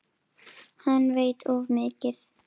Hann veit of mikið.